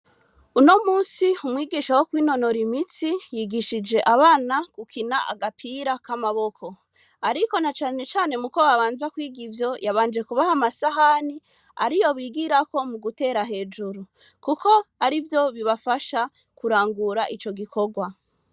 Uno musi umwigisha wo kwinonora imitsi yigishije abana gukina agapira k'amaboko. Ariko na cane cane muko babanza kwiga ivyo, yabanje kubaha amasahani, ariyo bigirako mugutera hejuru, kuko arivyo bibafasha kurangura ico gikorwa.